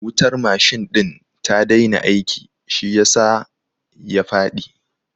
Wutar machine ɗin ta daina aiki shi yasa ya faɗi